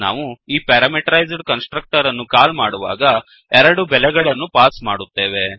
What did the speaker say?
ನಾವು ಈ parameterised constructor ಅನ್ನು ಕಾಲ್ ಮಾಡುವಾಗ ಎರಡು ಬೆಲೆಗಳನ್ನು ಪಾಸ್ ಮಾಡುತ್ತೇವೆ